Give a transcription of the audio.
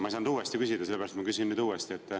Ma ei saanud uuesti küsida, sellepärast ma küsin nüüd uuesti.